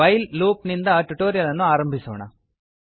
while loop ನಿಂದ tutorial ಅನ್ನು ಆರಂಭಿಸೋಣ